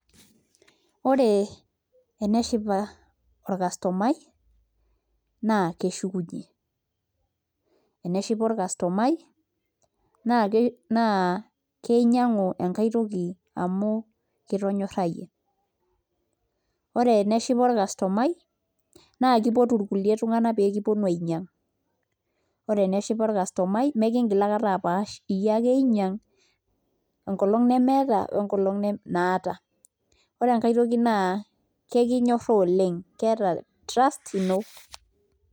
Ore eneshipa orcustomai naa keshukunyie eneshipa orcustomai naa kinyiang'u enkae toki amu kitonyorrayie Ore eneshipa orcustomai naa kipotu kulie tung'anak nikiponu ainyiang' Ore eneshipa orcustomai meekiingil aikata apaash enkolong' nemeeta onkolong' naata ore enkae toki naa kekinyorraa oleng' keeta trust ino.